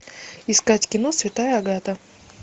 искать кино святая агата